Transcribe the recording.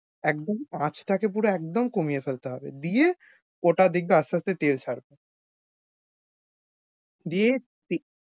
একদম আঁচটাকে পুরো একদম কমিয়ে ফেলতে হবে দিয়ে, ওটা দেখবি আস্তে আস্তে তেল ছাড়বে। দিয়ে~তে